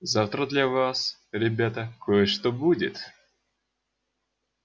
завтра для вас ребята кое-что будет